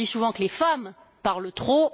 On dit souvent que les femmes parlent trop.